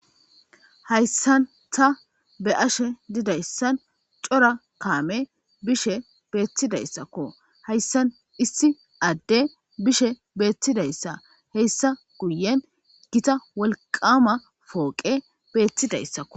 Haysan ta be'ashe dizaysan cora kamey bishe betidaysako haysan issi ade bishe betidaysa hesa guyen gita wolqama poqey betidaysako